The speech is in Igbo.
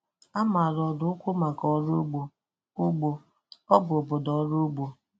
A maara Ọraukwu maka ọrụ ugbo, ugbo, ọ bụ obodo ọrụ ugbo